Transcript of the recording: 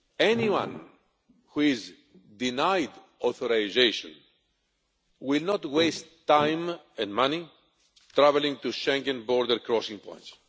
Anyone who is denied authorisation will not waste time and money travelling to Schengen border crossing points.